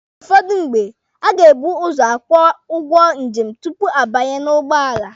Ụfọdụ mgbe, a ga-ebu ụzọ akwụ ụgwọ njem tupu a banye n'ugbọala.